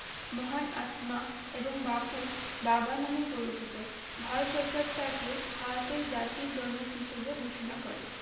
মহান আত্মমা এবং বাপু বাবা নামে পরিচিত ভারত সরকার তাকে ভারতের জাতির জনক হিসেবে ঘোষণা করে